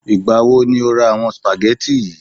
Ìgbà wo ni o ra àwọn spaghetti yi?